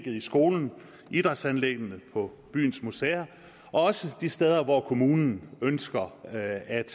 i skolen på idrætsanlæggene på byens museer og også de steder hvor kommunen ønsker at